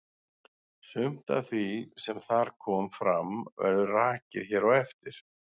Sumt af því sem þar kom fram verður rakið hér á eftir.